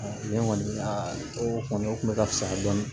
ne kɔni o kɔni o kun bɛ ka fisaya dɔɔnin